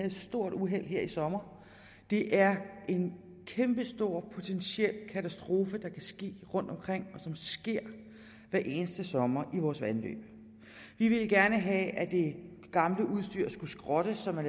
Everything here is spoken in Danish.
et stort uheld her i sommer det er en kæmpestor potentiel katastrofe der kan ske rundtomkring og som sker hver eneste sommer i vores vandløb vi ville gerne have at det gamle udstyr skulle skrottes så man